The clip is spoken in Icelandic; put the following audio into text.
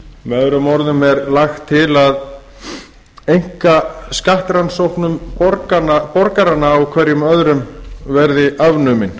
af meðöðrum orðum er lagt til að einkasqkttróknum borgaranna hverjum árum verði afnumin